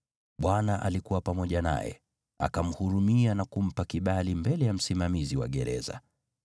Bwana alikuwa pamoja naye, akamhurumia na kumpa kibali mbele ya msimamizi wa gereza.